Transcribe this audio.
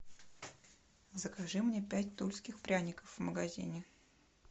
закажи мне пять тульских пряников в магазине